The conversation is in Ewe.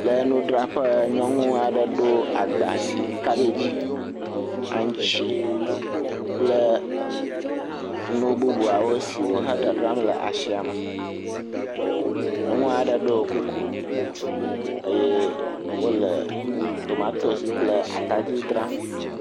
Le nudzraƒe nyɔnu aɖe ɖo agba si kabagi, aŋtsi kple nu bubuawo si wohe dadzram le asi ame. Nyɔnu aɖe ɖo kuku eye wo le tomatosi kple atadi dzram.